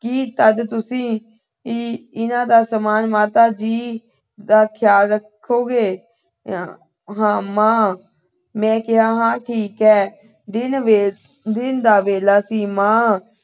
ਜੀ ਤਦ ਤੁਸੀਂ ਇਹਨਾਂ ਦਾ ਸਾਮਾਨ ਮਾਤਾ ਜੀ ਦਾ ਖਿਆਲ ਰੱਖੋਗੇ। ਹਾਂ, ਮਾਂ ਅਹ ਮੈਂ ਕਿਹਾ ਠੀਕ ਹੈ। ਦਿਨ ਵਿੱਚ ਅਹ ਦਿਨ ਦਾ ਵੇਲਾ ਸੀ। ਮਾਂ